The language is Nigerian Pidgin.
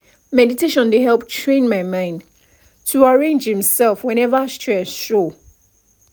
meditation dey help train my mind to arrange himself whenever stress show